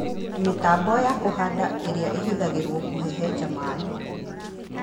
Mĩtambo ya kũhanda ĩrĩa ĩhũthagĩrũo kũhehenja maĩ